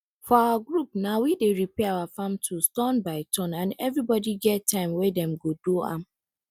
for our group na we dey repair our farm tools turn by turn and everybody get time wey dem go go do am